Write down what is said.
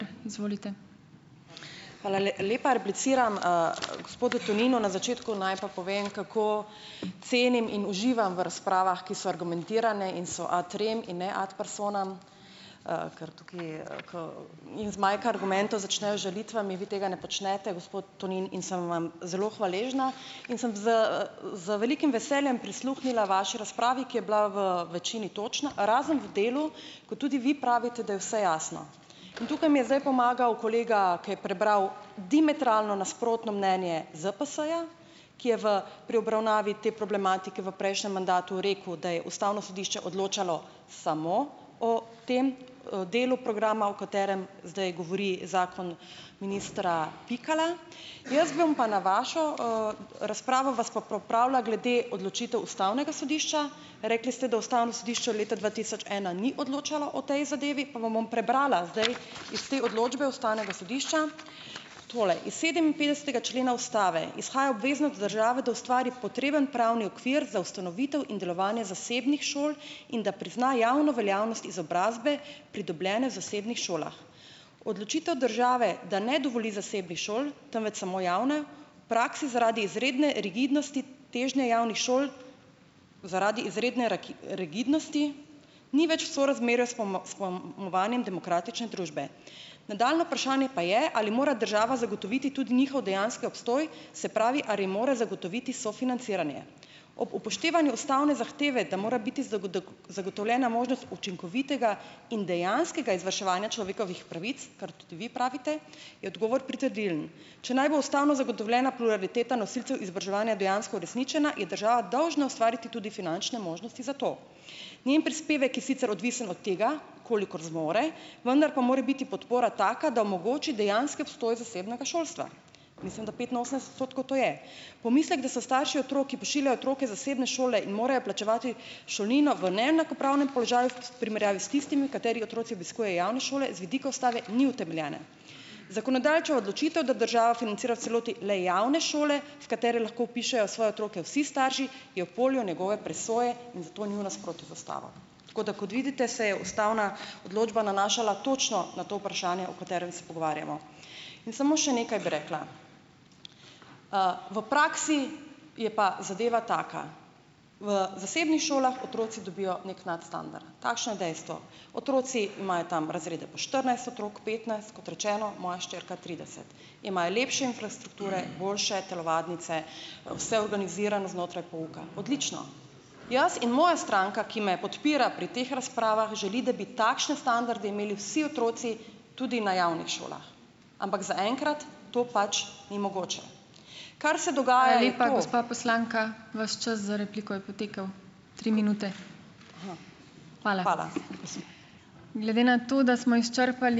Hvala lepa. Repliciram, gospodu Toninu. Na začetku naj pa povem, kako cenim in uživam v razpravah, ki so argumentirane in so ad rem in ne ad personam, zmanjka argumentov, začnejo z žalitvami, vi tega ne počnete, gospod Tonin, in sem vam zelo hvaležna in sem z, z velikim veseljem prisluhnila vaši razpravi, ki je bila v večini točna, razen v delu, ko tudi vi pravite, da je vse jasno. In tukaj mi je zdaj pomagal kolega, ker je prebral diametralno nasprotno mnenje ZPS-ja, ki je v pri obravnavi te problematike v prejšnjem mandatu rekel, da je ustavno sodišče odločalo samo o tem, delu programa, o katerem zdaj govori zakon ministra Pikala. Jaz bom pa na vašo, razpravo vas pa popravila glede odločitev ustavnega sodišča. Rekli ste, da ustavno sodišče od leta dva tisoč ena ni odločalo o tej zadevi, pa vam bom prebrala zdaj iz te odločbe ustavnega sodišča. Torej, iz sedeminpetdesetega člena ustave izhaja obveznost države, da ustvari potreben pravni okvir za ustanovitev in delovanje zasebnih šol in da prizna javno veljavnost izobrazbe, pridobljene v zasebnih šolah. Odločitev države, da ne dovoli zasebnih šol, temveč samo javne prakse zaradi izredne rigidnosti težnje javnih šol, zaradi izredne rigidnosti ni več sorazmerja s s pojmovanjem demokratične družbe. Nadaljnje vprašanje pa je, ali mora država zagotoviti tudi njihov dejanski obstoj, se pravi, ali mora zagotoviti sofinanciranje. Ob upoštevanju ustavne zahteve, da mora biti zagotovljena možnost učinkovitega in dejanskega izvrševanja človekovih pravic, kar tudi vi pravite, je odgovor pritrdilen. Če naj bo ustavno zagotovljena pluraliteta nosilcev izobraževanja dejansko uresničena, je država dolžna ustvariti tudi finančne možnosti za to. Njen prispevek je sicer odvisen od tega, kolikor zmore, vendar pa mora biti podpora taka, da omogoči dejanski obstoj zasebnega šolstva, mislim, da petinosemdeset odstotkov to je. Pomislek, da so starši otrok, ki pošiljajo otroke v zasebne šole in morajo plačevati šolnino, v neenakopravnem položaju v primerjavi s tistimi, katerih otroci obiskujejo javne šole, z vidika ustave ni utemeljen. Zakonodajalčeva odločitev, da država financira v celoti le javne šole, v katere lahko vpišejo svoje otroke vsi starši, je v polju njegove presoje in zato ni v nasprotju z ustavo. Tako da kot vidite, se je ustavna odločba nanašala točno na to vprašanje, o katerem se pogovarjamo. In samo še nekaj bi rekla. V praksi je pa zadeva taka. V zasebnih šolah otroci dobijo neki nadstandard, takšno je dejstvo, otroci imajo tam razrede po štirinajst otrok, petnajst, kot rečeno, moja hčerka trideset, imajo lepše infrastrukture, boljše telovadnice, vse organizirano znotraj pouka, odlično. Jaz in moja stranka, ki me podpira pri teh razpravah, želi, da bi takšne standarde imeli vsi otroci tudi na javnih šolah, ampak zaenkrat to pač ni mogoče.